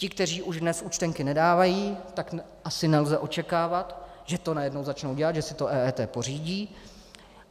Ti, kteří už dnes účtenky nedávají, tak asi nelze očekávat, že to najednou začnou dělat, že si to EET pořídí.